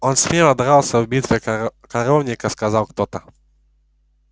он смело дрался в битве у коровника сказал кто-то